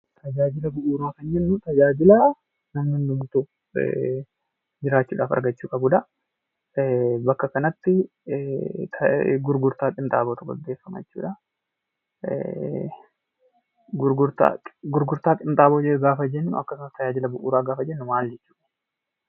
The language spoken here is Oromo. Tajaajila bu'uuraa gaafa jennuu tajaajila namni hundumtuu argachuu qabnuu dha. Bakka kanatti gurgurtaa qinxaabootu gaggeeffama jechuu dha. Gurgurtaa qinxaaboo gaafa jennu fi tajaajila bu'uuraa gaafa jennu maali dha?